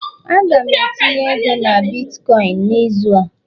Aga m etinye ego na bitkọịn n'izu a